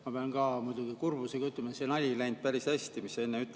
Ma pean ka muidugi kurbusega ütlema, et see nali ei päris hästi, mis sa enne tegid.